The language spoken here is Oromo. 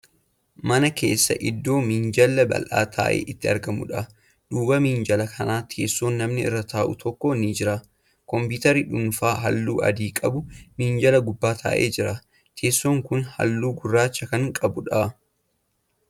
Mana keessa iddoo minjaalli bal'aa ta'e itti argamuudha. duuba minjaala kanaa teessoon namni irra taa'u tokko ni jira. compitarri dhuunfaa halluu adii qabu minjaala gubbaa taa'ee jira. teessoon Kuni halluu gurraacha Kan qabuudha.